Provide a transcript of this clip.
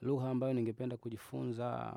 Luha ambayo ningependa kujifunza